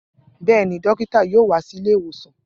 Bẹ́ẹ̀ ni, dókítà yóò wá sí ilé ìwòsàn